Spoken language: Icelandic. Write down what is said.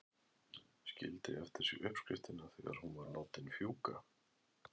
Skildi eftir sig uppskriftina þegar hún var látin fjúka.